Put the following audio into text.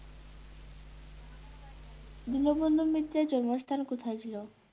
দীনবন্ধু মিত্রের জন্মস্থান কোথায় ছিল?